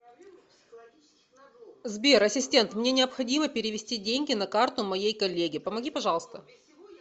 сбер ассистент мне необходимо перевести деньги на карту моей коллеге помоги пожалуйста